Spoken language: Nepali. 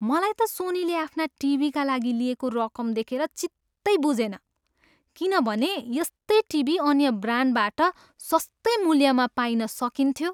मलाई त सोनीले आफ्ना टिभीका लागि लिएको रकम देखेर चित्तै बुझेन किनभने यस्तै टिभी अन्य ब्रान्डबाट सस्तै मूल्यमा पाइन सकिन्थ्यो।